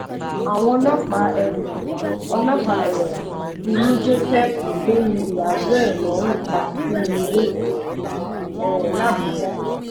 àwọn ọlọ́pàá um ọlọ́pàá um ti mú joseph tó yin ìyàwó ẹ̀ lọ́run pa sínú ilé um làbújá